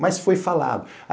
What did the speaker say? Mas foi falado.